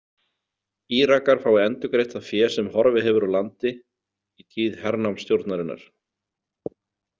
Írakar fái endurgreitt það fé sem horfið hefur úr landi í tíð hernámsstjórnarinnar.